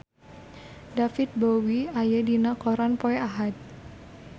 David Bowie aya dina koran poe Ahad